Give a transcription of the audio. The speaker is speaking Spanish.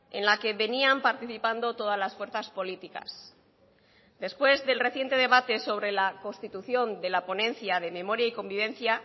en la que venían participando todas las fuerzas políticas después del reciente debate sobre la constitución de la ponencia de memoria y convivencia